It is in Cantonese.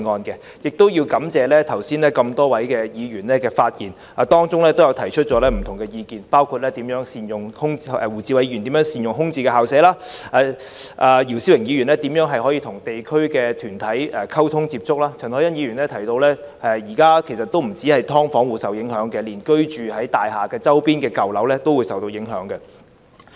我亦感謝剛才多位議員發言時提出的不同意見，包括胡志偉議員提及如何善用空置的校舍；姚思榮議員提及如何與地區團體溝通及接觸；陳凱欣議員提到，現時不單是"劏房戶"受影響，連居住於舊樓的人都會受影響。